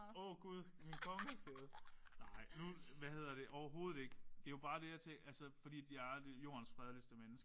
Åh Gud min kongekæde. Nej nu hvad hedder det overhovedet ikke. Det jo bare det at det fordi jeg er jordens fredeligste menneske